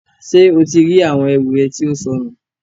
Ṣe o ti ri awọn ẹru rẹ tí ó sọnù?